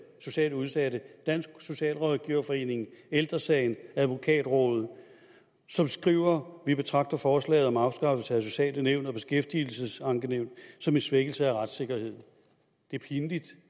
socialt udsatte dansk socialrådgiverforening ældre sagen advokatrådet som skriver vi betragter forslaget om afskaffelse af sociale nævn og beskæftigelsesankenævn som en svækkelse af retssikkerheden det er pinligt